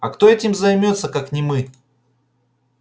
а кто этим займётся как не мы